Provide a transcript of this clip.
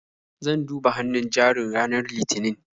Zan duba hannun jarin ranar Litinin.